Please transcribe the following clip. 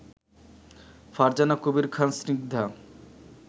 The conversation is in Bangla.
ফারজানা কবির খান স্নিগ্ধা